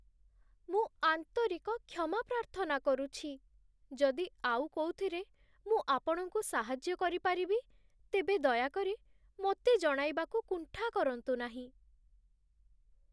ମୁଁ ଆନ୍ତରିକ କ୍ଷମା ପ୍ରାର୍ଥନା କରୁଛି! ଯଦି ଆଉ କୋଉଥିରେ ମୁଁ ଆପଣଙ୍କୁ ସାହାଯ୍ୟ କରିପାରିବି, ତେବେ ଦୟାକରି ମୋତେ ଜଣାଇବାକୁ କୁଣ୍ଠା କରନ୍ତୁ ନାହିଁ।